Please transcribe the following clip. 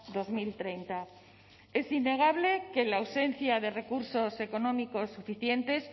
dos mil treinta es innegable que la ausencia de recursos económicos suficientes